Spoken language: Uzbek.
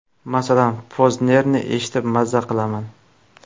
Masalan, Poznerni eshitib maza qilaman.